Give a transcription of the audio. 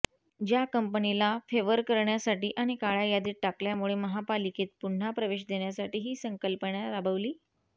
ज्या कंपनीला फेव्हर करण्यासाठी आणि काळ्या यादीत टाकल्यामुळे महापालिकेत पुन्हा प्रवेश देण्यासाठी ही संकल्पना राबवली